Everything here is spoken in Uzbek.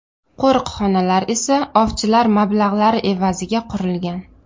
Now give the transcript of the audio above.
Qo‘riqxonalar esa ovchilar mablag‘lari evaziga qurilgan.